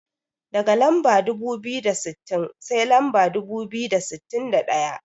Daga lamba dubu biyu da sittin, sai lamba dubu biyu da sittin da ɗaya.